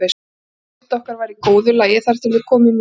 Andagift okkar var í góðu lagi þar til við komum í